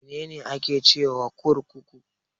Mene ne ake cewa kurkuku?